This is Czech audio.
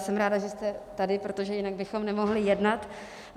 Jsem ráda, že jste tady, protože jinak bychom nemohli jednat.